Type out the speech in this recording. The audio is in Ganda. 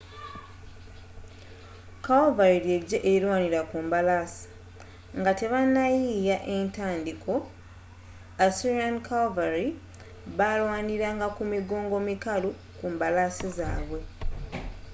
calvary ly'eggye erirwanira ku mbalaasi nga tebannayiiya etandiiko assyrian calvary balwaniranga ku migongo mikalu ku mbalaasi zaabwe